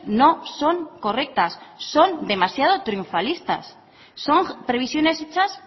no son correctas son demasiado triunfalistas son previsiones hechas